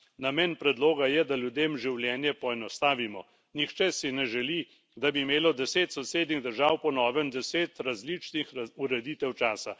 Namen predloga je, da ljudem življenje poenostavimo. Nihče si ne želi, da bi imelo deset sosednjih držav po novem deset različnih ureditev časa.